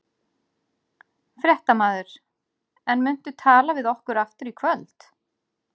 Fréttamaður: En muntu tala við okkur aftur í kvöld?